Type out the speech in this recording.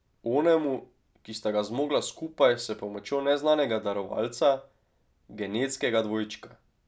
Onemu, ki sta ga zmogla skupaj, s pomočjo neznanega darovalca, genetskega dvojčka.